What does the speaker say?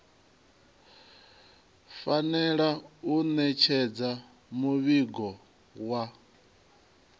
fanela u ṋetshedza muvhigo wa